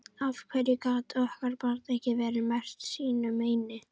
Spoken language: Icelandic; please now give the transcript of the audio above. Af hverju gat okkar barn ekki verið merkt sínu meini?